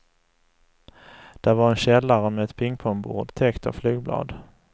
Där var en källare med ett pingpongbord täckt av flygblad.